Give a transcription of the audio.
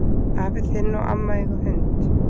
Afi þinn og amma eiga hund.